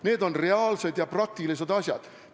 Need on reaalsed ja praktilised asjad.